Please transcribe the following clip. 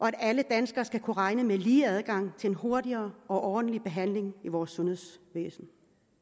at alle danskere skal kunne regne med lige adgang til en hurtigere og ordentlig behandling i vores sundhedsvæsen